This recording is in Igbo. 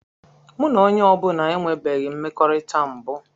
Mụ na onye ọ bụla enwebeghị mmekọrịta mbụ.